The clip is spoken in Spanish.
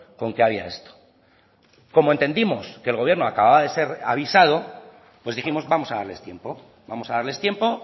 con que había esto como entendimos que el gobierno acababa de ser avisado pues dijimos vamos a darles tiempo vamos a darles tiempo